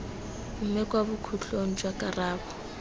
mme kwa bokhutlong jwa karabo